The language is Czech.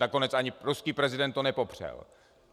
Nakonec ani ruský prezident to nepopřel.